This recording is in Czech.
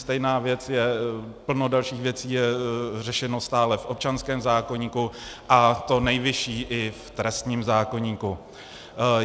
Stejná věc je, plno dalších věcí je řešeno stále v občanském zákoníku, a to nejvyšší i v trestním zákoníku.